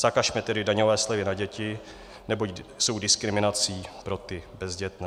Zakažme tedy daňové slevy na děti, neboť jsou diskriminací pro ty bezdětné.